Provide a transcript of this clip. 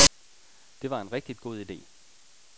Det var en rigtig god ide.